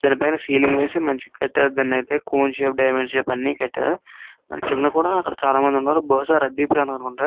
దాని పైన సీలింగ్ వేసి మంచిగా కట్టారు. దానికైతే షేప్ డైమండ్ షేప్ అని కట్టారు. దాని కింద కూడా చాలా మంది ఉన్నారు. బహుశా రద్దీ ప్రాంతం అనుకుంటా.